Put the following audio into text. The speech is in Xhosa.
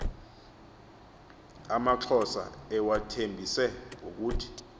amaxhosa ewathembise ngokuthi